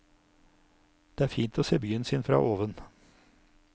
Det er fint å se byen sin fra oven.